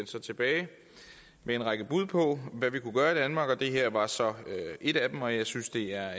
så tilbage med en række bud på hvad vi kunne gøre i danmark og det her var så et af dem og jeg synes det er